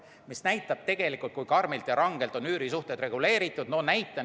Aga see näitab tegelikult, kui karmilt ja rangelt on üürisuhted reguleeritud.